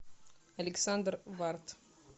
александр варт